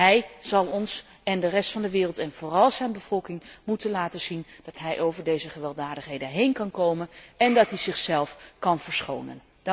Hij zal ons en de rest van de wereld en vooral zijn bevolking moeten laten zien dat hij over deze gewelddadigheden heen kan komen en dat hij zichzelf kan verschonen.